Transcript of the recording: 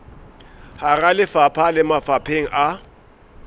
hara lefapha le mafapheng a